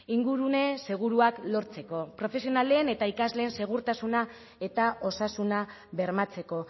ingurune seguruak lortzeko profesionalen eta ikasleen segurtasuna eta osasuna bermatzeko